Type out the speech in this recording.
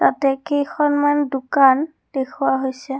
ইয়াতে কেইখনমান দোকান দেখোৱা হৈছে।